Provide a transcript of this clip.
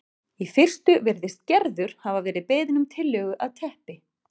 Í fyrstu virðist Gerður hafa verið beðin um tillögu að teppi